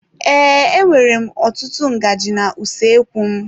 Ee, e nwèrè m ọtụtụ ngaji na usoekwu m.